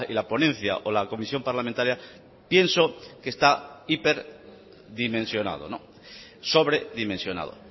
la ponencia o la comisión parlamentaria pienso que está hiper dimensionado sobre dimensionado